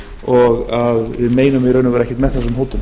og að við meinum ekkert með þessum hótunum